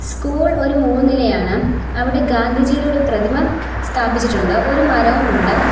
School ഒരു മൂന്നിലയാണ് അവിടെ ഗാന്ധിജിയുടെ പ്രതിമ സ്ഥാപിച്ചിട്ടുണ്ട് ഒരു മരവും ഉണ്ട്.